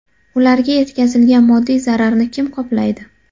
Ularga yetkazilgan moddiy zararni kim qoplaydi?